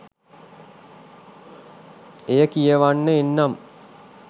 එය කියවන්න එන්නම්.